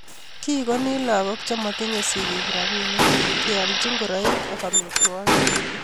kigoni lagook chematinyei sigiik robinik, keolchi ngoroik, amitwogik